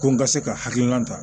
Ko n ka se ka hakilina ta